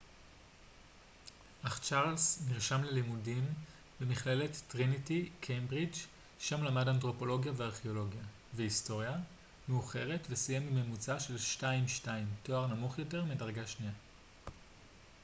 אך צ'ארלס נרשם ללימודים במכללת טריניטי קיימברידג' שם למד אנתרופולוגיה וארכאולוגיה והיסטוריה מאוחרת וסיים עם ממוצע של 2:2 תואר נמוך יותר מדרגה שנייה